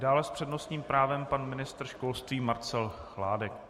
Dále s přednostním právem pan ministr školství Marcel Chládek.